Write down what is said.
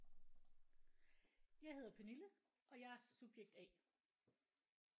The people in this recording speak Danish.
Jeg hedder Pernille og jeg er subjekt A